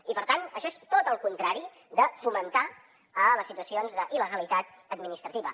i per tant això és tot el contrari de fomentar a les situacions d’il·legalitat administrativa